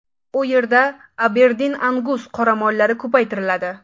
U yerda Aberdin-Angus qoramollari ko‘paytiriladi.